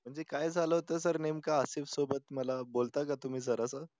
म्हणजे काय झालं होतं सर नेमकं आसिफ सोबत मला बोलता का तुम्ही जरासं?